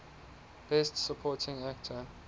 best supporting actor